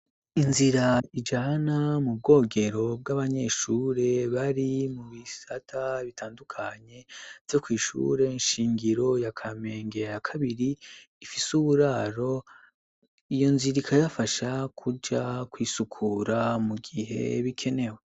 Inzira ijana mu bwogero bw'abanyeshure bari mu bisata bitandukanye vyo kw'ishure nshingiro ya Kamenge ya kabiri ifise uburaro, iyo nzira ikabafasha kuja kw'isukura mu gihe bikenewe.